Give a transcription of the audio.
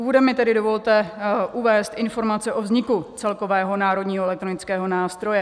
Úvodem mi tedy dovolte uvést informace o vzniku celkového Národního elektronického nástroje.